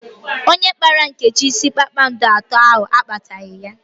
Onye kpara Nkechi isi kpakpando atọ ahụ akpataghi ya